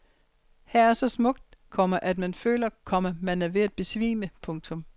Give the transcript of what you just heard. Her er så smukt, komma at man føler, komma man er ved at besvime. punktum